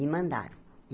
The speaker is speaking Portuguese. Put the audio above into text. Me mandaram.